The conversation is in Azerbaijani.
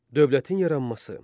Dövlətin yaranması.